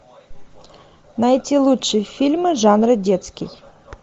найти лучшие фильмы жанра детский